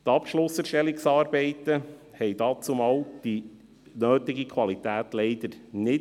Die Abschlusserstellungsarbeiten erreichten die notwendige Qualität damals leider nicht.